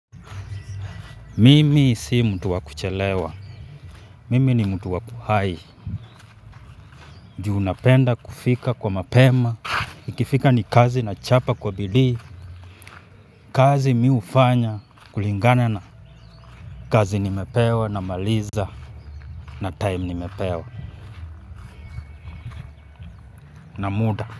Mimi si mtu wa kuchelewa, mimi ni mtu wakuhai, juu napenda kufika kwa mapema, ikifika ni kazi nachapa kwa bidii, kazi mimi hufanya kulingana na kazi nimepewa namaliza na taimu nime pewa na muda.